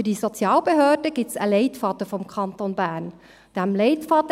Für diese Sozialbehörde gibt es vom Kanton Bern einen Leitfaden.